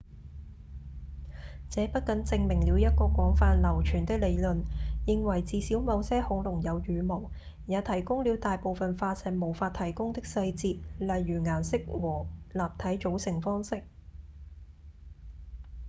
這不僅證明了一個廣泛流傳的理論認為至少某些恐龍有羽毛也提供了大部分化石無法提供的細節例如顏色和立體組成方式